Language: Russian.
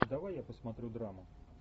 давай я посмотрю драму